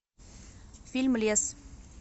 фильм лес